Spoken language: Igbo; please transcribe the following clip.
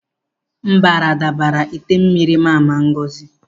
Mbara dabara ite mmiri Mama Ngozi.